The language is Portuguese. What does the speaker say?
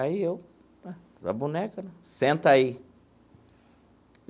Aí eu, a boneca, senta aí.